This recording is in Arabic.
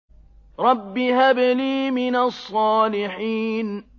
رَبِّ هَبْ لِي مِنَ الصَّالِحِينَ